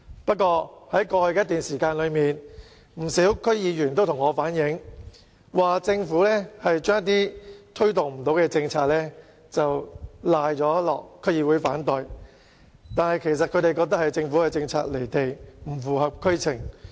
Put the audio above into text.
不過，在過去一段時間，不少區議員也向我反映，指政府把一些無法推動的政策，歸咎於區議會反對，但他們認為其實是政府的政策離地，不符合區情。